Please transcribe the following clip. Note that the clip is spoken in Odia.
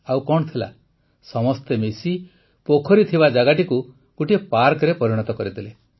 ଆଉ କଣ ଥିଲା ସମସ୍ତେ ମିଶି ପୋଖରୀ ଥିବା ଜାଗାଟିକୁ ପାର୍କରେ ପରିଣତ କରିଦେଲେ